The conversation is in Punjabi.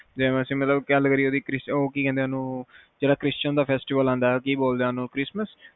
ਵੈਸੇ ਮਤਲਬ ਗੱਲ ਕਰੀਏ ਜਿਹੜਾ ਕ੍ਰਿਸਟੀਨ ਦਾ ਫੈਸਟੀਵਲ ਆਉਂਦਾ ਕਿ ਬੋਲਦੇ ਓਹਨੂੰ ਕ੍ਰਿਸਤਮਸ